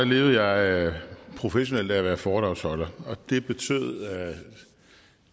levede jeg professionelt af at være foredragsholder og det betød